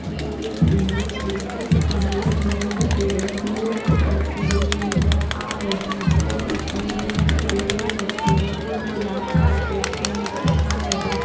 ये एक इमेज है इस इमेज में एक लड़की नृत्ये करती हुई नजर आ रही है और उसने नृत्ये की पहन राखी है और लाल कारपेट पे नजर आ रही है।